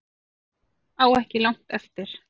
Á ekki langt eftir